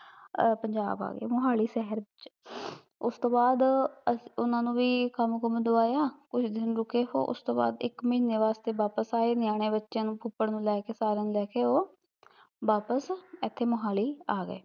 ਆ ਪੰਜਾਬ ਆਗੇ, ਮੋਹਾਲੀ ਸਹਿਰ ਉਹਤੋਂ ਬਾਦ ਅਸੀਂ ਉਹਨਾਂ ਨੂੰ ਵੀ ਕੰਮ ਕੁਮ ਦਵਾਇਆ, ਕੁਛ ਦਿਨ ਰੁਕੇ ਉਹ, ਉਸਤੋਂ ਬਾਦ ਇੱਕ ਮਹੀਨੇ ਵਾਸਤੇ ਵਾਪਿਸ ਆਏ, ਨਿਆਣੇ ਬੱਚਿਆ ਫੁੱਫੜ ਨੂੰ ਸਾਰਿਆ ਨੂੰ ਲੈ ਕੇ ਉਹ ਵਾਪਿਸ, ਏਥੇ ਮੋਹਾਲੀ ਆ ਗਏ